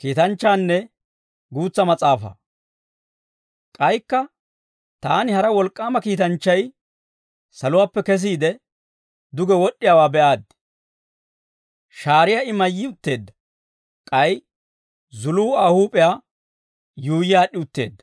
K'aykka taani hara wolk'k'aama kiitanchchay saluwaappe kesiide, duge wod'd'iyaawaa be'aaddi. Shaariyaa I mayyi utteedda; k'ay zuluu Aa huup'iyaa yuuyyi aad'd'i utteedda.